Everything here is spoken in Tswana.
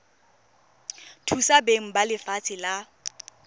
thusa beng ba lefatshe la